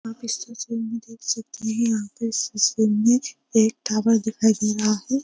आप इस तस्वीर में देख सकते हैं यहाँ पर इस तस्वीर में एक टावर दिखाई दे रहा है।